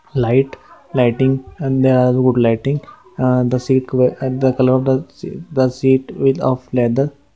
light lighting and there are good lighting the seat at the colour of the set key of length